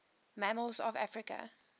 mammals of africa